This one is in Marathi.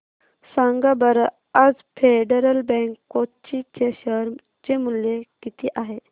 सांगा बरं आज फेडरल बँक कोची चे शेअर चे मूल्य किती आहे